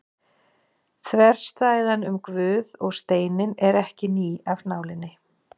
Þverstæðan um Guð og steininn er ekki ný af nálinni.